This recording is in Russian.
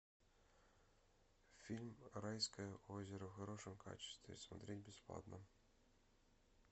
фильм райское озеро в хорошем качестве смотреть бесплатно